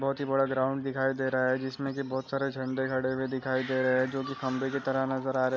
बहुत ही बड़ा ग्राउंड दिखाई दे रहा है जिसमें की बहुत सारा झण्डे गड़े हुए दिखाई दे रहे है जो की खम्भे के तरह नजर आ रहे है।